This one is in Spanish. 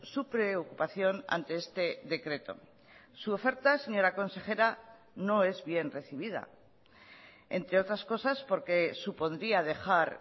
su preocupación ante este decreto su oferta señora consejera no es bien recibida entre otras cosas porque supondría dejar